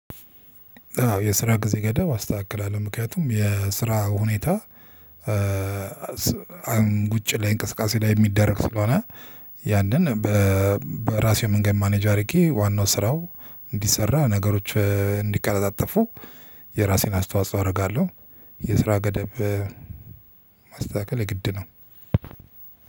የስራ ጊዜ ገደብ አስተካክላለሁ ምክንያቱም የስራ ሁኔታ አሁን ውጭ ላይ እንቅስቃሴ ላይ የሚደረግ ስለሆነ ያንን በራሴው መንገድ ማኔጅ አድርጌ ዋናው ስራው እንዲሰራ ነገሮች እንዲቀለጣጠፉ የራሴን አስተዋጽኦ አደርጋለሁ የስራ ገደብ። ማስተካከል የግድ ነው።